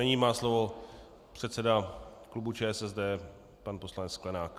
Nyní má slovo předseda klubu ČSSD pan poslanec Sklenák.